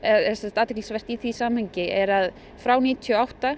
athyglisvert í því samhengi er að frá níutíu og átta